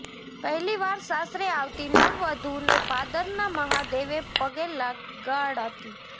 પહેલી વાર સાસરે આવતી નવવધૂને પાદરના મહાદેવે પગે લગાડાતી